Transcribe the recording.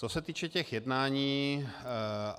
Co se týče těch jednání.